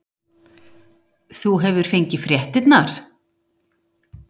Þú hefur fengið fréttirnar?